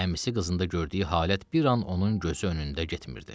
Əmisi qızında gördüyü halət bir an onun gözü önündə getmirdi.